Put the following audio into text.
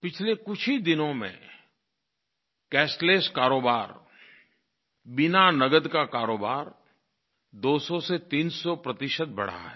पिछले कुछ ही दिनों में कैशलेस कारोबार बिना नगद का कारोबार 200 से 300 प्रतिशत बढ़ा है